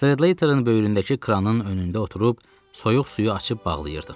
Stradlaterin böyründəki kranın önündə oturub soyuq suyu açıb bağlayırdım.